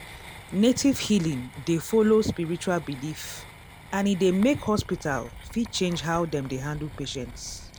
native healing dey follow spiritual belief and e dey make hospital fit change how dem dey handle patients.